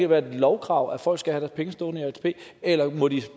være et lovkrav at folk skal have deres penge stående i atp eller må de